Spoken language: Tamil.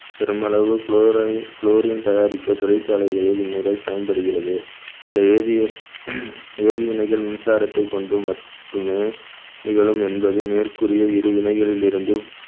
பெருமளவு chlori~ chlorine தயாரிக்க தொழிற்சாலைகளில் இம்முறை பயன்படுகிறது சில வேதி~ வேதிவினைகள் மின்சாரத்தை கொண்டு மட்டுமே நிகழும் என்பது மேற்கூறிய இரு வினைகளில் இருந்தும்